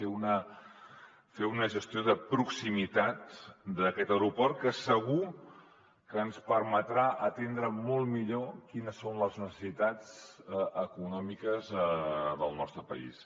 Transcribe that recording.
fer una gestió de proximitat d’aquest aeroport que segur que ens permetrà atendre molt millor quines són les necessitats econòmiques del nostre país